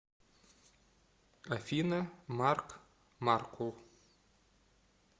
афина марк маркул